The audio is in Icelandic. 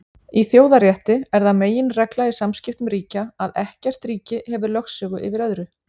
Í þjóðarétti er það meginregla í samskiptum ríkja að ekkert ríki hefur lögsögu yfir öðru.